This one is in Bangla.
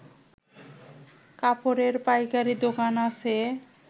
কাপড়ের পাইকারি দোকান আছে